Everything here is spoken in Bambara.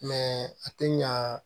a tɛ ɲa